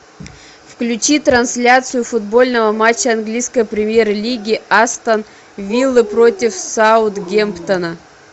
включи трансляцию футбольного матча английской премьер лиги астон вилла против саутгемптона